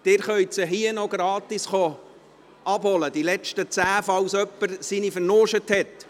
Sie können diese letzten zehn hier noch gratis abholen, falls jemand seine Einladung verlegt hat.